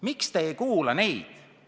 Miks te ei kuula neid?